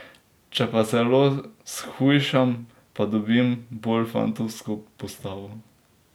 Če pa zelo shujšam, pa dobim bolj fantovsko postavo.